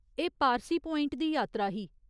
एह् पारसी प्वाइंट दी यात्रा ही।